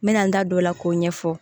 N mɛna n da don o la k'o ɲɛfɔ